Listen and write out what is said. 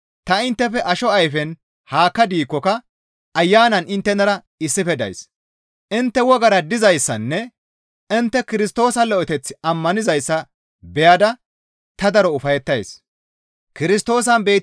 Ta inttefe asho ayfen haakka diikkoka Ayanan inttenara issife days; intte wogara dizayssanne intte Kirstoosa lo7eththi ammanizayssa beyada ta daro ufayettays.